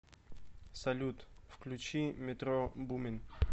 салют включи метро бумин